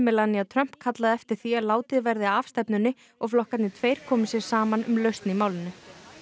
Melania Trump kallað eftir því að látið verði af stefnunni og flokkarnir tveir komi sér saman um lausn í málinu